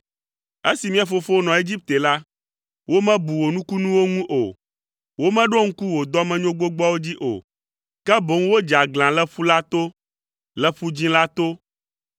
Esi mía fofowo nɔ Egipte la, womebu wò nukunuwo ŋu o; womeɖo ŋku wò dɔmenyo gbogboawo dzi o, ke boŋ wodze aglã le ƒu la to, le Ƒu Dzĩ la to,